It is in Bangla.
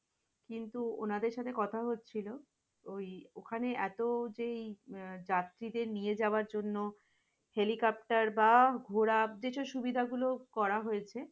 কিন্তু ওনাদের সাথে কথা হচ্ছিল, ওই ওখানে এত যেই যাত্রীদের নিয়ে যাইয়ার জন্য, হেলিকপ্টার বা ঘোড়া কিছু সুবিধা গুলো করা হয়েছে।